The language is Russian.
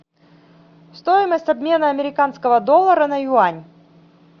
стоимость обмена американского доллара на юань